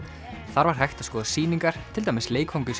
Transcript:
þar var hægt að skoða sýningar til dæmis